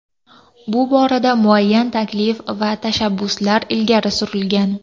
Bu borada muayyan taklif va tashabbuslar ilgari surilgan.